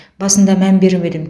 басында мән бермедім